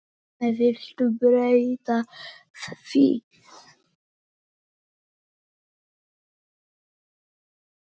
Viltu breyta því